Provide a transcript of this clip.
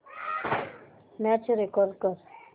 match record कर